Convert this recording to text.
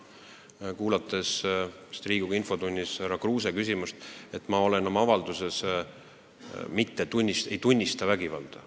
Ma kuulsin, kui Riigikogu infotunnis ütles härra Kruuse küsimust esitades, et mina oma avalduses ei tunnistanud vägivalda.